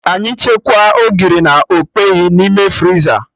Anyị chekwaa Ogiri na okpeyi n'ime friza